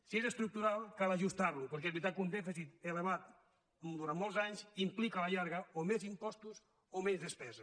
si és estructural cal ajustar lo perquè és veritat que un dèficit elevat durant molts anys implica a la llarga o més impostos o menys despesa